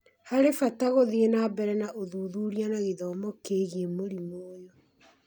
harĩ bata gũthiĩ na mbere na ũthuthuria na gĩthomo kĩĩgiĩ mũrimũ ũyũ